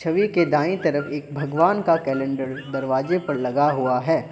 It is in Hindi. छवि के दाएं तरफ एक भगवान का कैलेंडर दरवाजे पर लगा हुआ है।